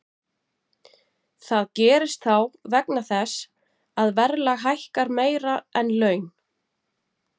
Það gerist þá vegna þess að verðlag hækkar meira en laun.